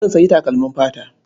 Zan sayi takalmin fata.